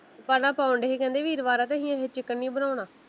ਪਹਿਲਾ ਪਾਉਨਡੇ ਸੀ ਕਹਿੰਦੇ ਵੀਰਵਾਰ ਆ ਅਸੀਂ ਅੱਜ ਚਿਕਨ ਨੀ ਬਣਾਉਣਾ।